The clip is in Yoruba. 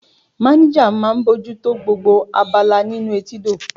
Manager máà ń bójú tó gbogbo abala nínú etídò.